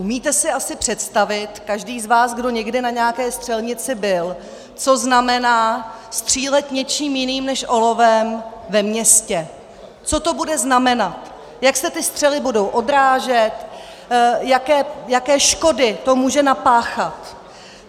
Umíte si asi představit, každý z vás, kdo někdy na nějaké střelnici byl, co znamená střílet něčím jiným než olovem ve městě, co to bude znamenat, jak se ty střely budou odrážet, jaké škody to může napáchat.